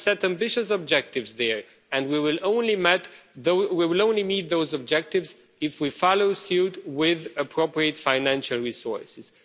We have set ambitious objectives there, and we will only meet those objectives if we follow suit with appropriate financial resources.